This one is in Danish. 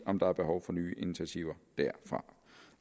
om der er behov for nye initiativer